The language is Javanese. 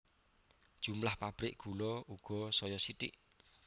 Jumlah pabrik gula uga saya sithik